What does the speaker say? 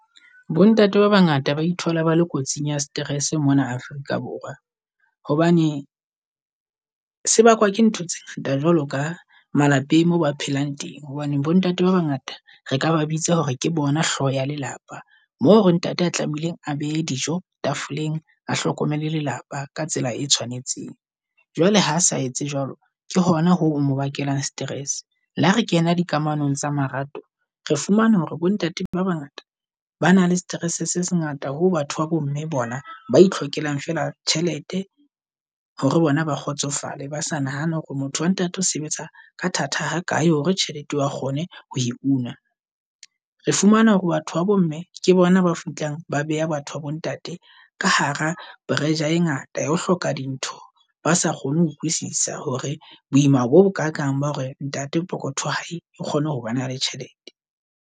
Bo ntate ba bangata ba ithola ba le kotsing ya stress mona Afrika Borwa hobane se bakwa ke ntho tse ngata jwalo ka malapeng moo ba phelang teng. Hobane bo ntate ba bangata re ka ba bitsa hore ke bona hlooho ya lelapa, mo hore ntate a tlamehileng a behe dijo tafoleng, a hlokomele lelapa ka tsela e tshwanetseng. Jwale ha sa etse jwalo, ke hona ho mo bakelang stress. Le ha re kena dikamanong tsa marato, re fumana hore bo ntate ba bangata ba na le stress se se ngata ho batho ba bo mme bona ba e hlokehang fela tjhelete hore bona ba kgotsofale ba sa nahana hore motho wa ntate o sebetsa ka thata ha kae hore tjhelete ba kgone ho e una. Re fumana hore batho babo mme ke bona ba fihlang ba beha batho ba bo ntate ka hara pressure e ngata ya ho hloka dintho ba sa kgone ho utlwisisa hore boima bo bokakang ba hore ntate pokotho wa hae ke kgone ho bana le tjhelete.